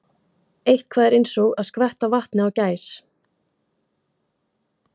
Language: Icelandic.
Eitthvað er eins og að skvetta vatni á gæs